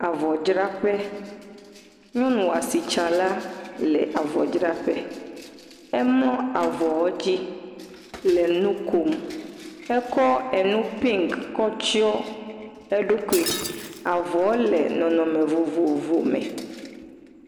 Avɔdzraƒe, nyɔnu asitsala le avɔdzraƒe, emlɔ avɔwo dzi le nu kom, etsɔ enu pink kɔ tsyɔ̃ eɖokui avɔɔ le nɔnɔme vovovo me.